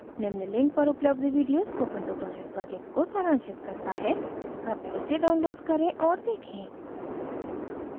निम्न link पर उपलब्ध video spoken tutorial project को सारांशित करता है कृपया इसे download करे और देखें